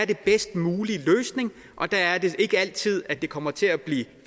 den bedst mulige og der er det ikke altid at det kommer til at blive en